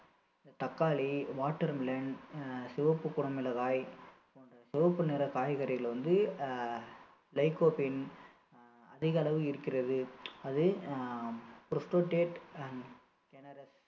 தக்காளி watermelon ஆஹ் சிவப்பு குடமிளகாய் போன்ற சிவப்பு நிற காய்கறிகள் வந்து அஹ் licofin அஹ் அதிகளவில் இருக்கிறது அது ஆஹ்